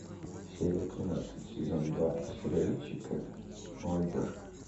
серия тринадцать сезон два сериальчика молодежка